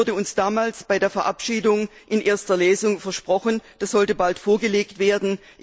Das wurde uns damals bei der Verabschiedung in erster Lesung versprochen, das sollte bald vorgelegt werden.